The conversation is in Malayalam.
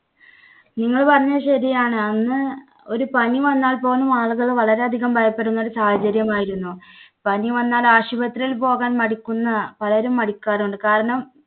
നിങ്ങൾ പറഞ്ഞത് ശരിയാണ്. അന്ന് ഒരു പനി വന്നാൽ പോലും ആളുകൾ വളരെയധികം ഭയപ്പെടുന്ന ഒരു സാഹചര്യം ആയിരുന്നു. പനി വന്നാൽ ആശുപത്രിയിൽ പോകാൻ മടിക്കുന്ന പലരും മടിക്കാറുണ്ട് കാരണം